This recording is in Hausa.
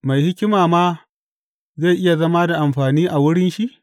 Mai hikima ma zai iya zama da amfani a wurin shi?